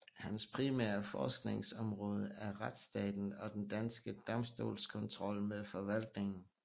Hans primære forskningsområde er retsstaten og den danske domstolskontrol med forvaltningen